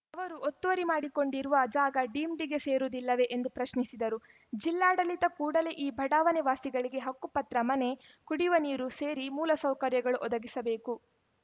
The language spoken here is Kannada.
ಅವರು ಒತ್ತುವರಿ ಮಾಡಿಕೊಂಡಿರುವ ಜಾಗ ಡೀಮ್ ಡಿ ಸೇರುವುದಿಲ್ಲವೇ ಎಂದು ಪ್ರಶ್ನಿಸಿದರು ಜಿಲ್ಲಾಡಳಿತ ಕೂಡಲೇ ಈ ಬಡಾವಣೆ ವಾಸಿಗಳಿಗೆ ಹಕ್ಕುಪತ್ರ ಮನೆ ಕುಡಿಯುವ ನೀರು ಸೇರಿ ಮೂಲಸೌಕರ್ಯಗಳು ಒದಗಿಸಬೇಕು